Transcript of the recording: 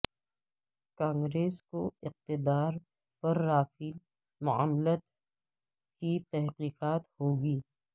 کانگریس کو اقتدار پر رافیل معاملت کی تحقیقات ہوگی